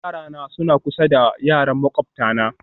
Yarana suna kusa da yaran makwabtana